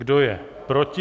Kdo je proti?